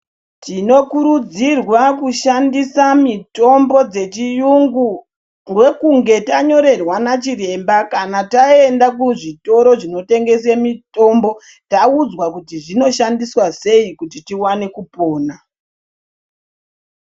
Tino kurudzirwa kushandisa mitombo dze chiyungu ndokunge tanyorerwa na chiremba kana taenda ku zvitoro zvino tengese mitombo taudzwa kuti zvino shandiswa sei kuti tiwane kupona.